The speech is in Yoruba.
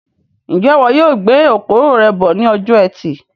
Njẹ ìwo yóò gbé okoro rẹ bọ ní ọjọ ẹtì